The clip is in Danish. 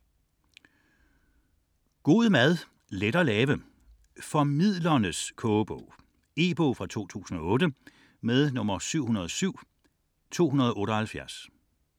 64.1 God mad, let at lave: Formidlernes kogebog E-bog 707278 2008.